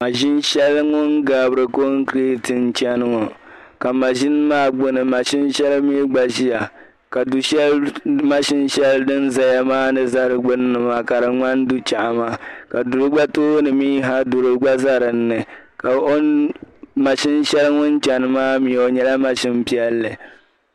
maʒini shɛli ŋuni gabiri kɔgiriti chani ŋɔ ka maʒini maa gbuni maʒini shɛli mi gba ʒiya ka du'shɛli maʒini shɛli din zaya maa gbuni maa ka di ŋmani du'chɛri ka o gba tooni mi ha duri gba za dini ka maʒini shɛli din chani maa mi o nyɛla maʒini piɛlli.